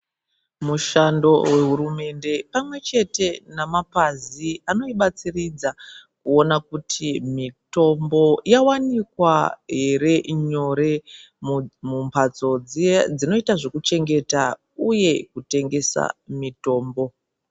Mushando wehurumende pamwechete nemapazi anoibatsiridza kuona kuti mitombo yawanikwa here nyore mumbatso dziye dzinoita zvekuchengeta uye kutengesa mitombo.